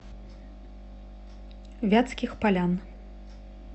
вятских полян